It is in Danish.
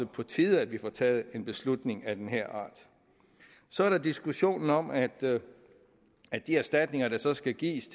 på tide at vi får taget en beslutning af den her art så er der diskussionen om at at de erstatninger der så skal gives